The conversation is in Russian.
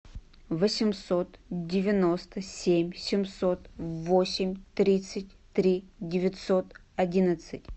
восемьсот девяносто семь семьсот восемь тридцать три девятьсот одиннадцать